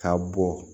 K'a bɔ